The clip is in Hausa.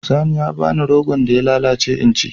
Sani ya ba ni rogon da ya lallace in ci.